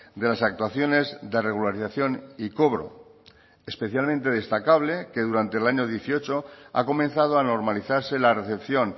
de las actuaciones de regularización y cobro especialmente destacable que durante el año dieciocho ha comenzado a normalizarse la recepción